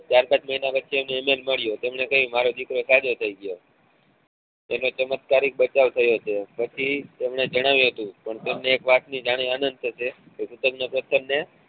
ચાર પાંચ મહિના પછી હું એમને મળ્યો તેમને કહ્યું મારો દીકરો સાજો થઇ ગયો તેનો ચમત્કારિક બચાવ થયો છે પછી એમને જણાવ્યું હતું પણ તમને જાણી ને આનંદ થશે પત્થર ને